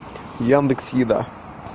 яндекс еда